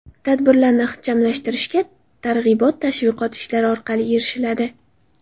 Tadbirlarni ixchamlashtirishga targ‘ibot-tashviqot ishlari orqali erishiladi.